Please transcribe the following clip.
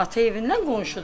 Ata evindən qonşudular.